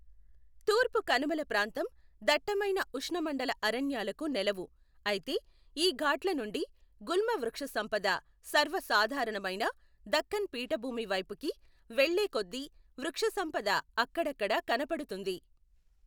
తూర్పు కనుమల ప్రాంతం దట్టమైన ఉష్ణమండల అరణ్యాలకు నెలవు, అయితే ఈ ఘాట్ల నుండి గుల్మ వృక్షసంపద సర్వసాధారణమైన దక్కన్ పీఠభూమి వైపుకి వెళ్ళే కొద్దీ వృక్షసంపద అక్కడక్కడా కనపడుతుంది.